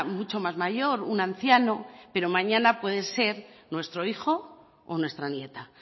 mucho más mayor un anciano pero mañana puede ser nuestro hijo o nuestra nieta